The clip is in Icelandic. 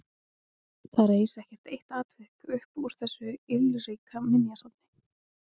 Það reis ekkert eitt atvik upp úr þessu ylríka minjasafni.